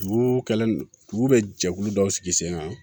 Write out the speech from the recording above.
Juru kɛlen dugu bɛ jɛkulu dɔw sigi sen kan